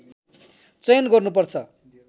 चयन गर्नुपर्छ